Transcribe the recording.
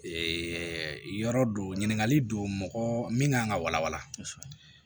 yɔrɔ don ɲininkali don mɔgɔ min kan ka walawala kosɛbɛ